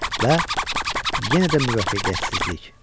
Və yenə də müvəffəqiyyətsizlik.